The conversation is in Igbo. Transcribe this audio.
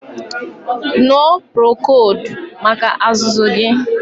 Ñụọ purokoldu maka azụzụ gị